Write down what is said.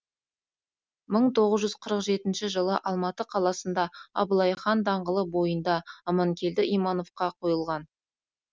мың тоғыз жүз қырық жетінші жылы алматы қаласында абылай хан даңғылы бойында аманкелді имановқа койылған